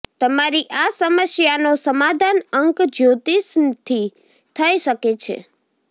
તમારી આ સમસ્યાનો સમાધાન અંક જ્યોતિષથી થઈ શકે છે